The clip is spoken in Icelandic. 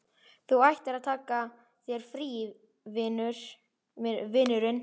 Þú ættir að taka þér frí, vinurinn.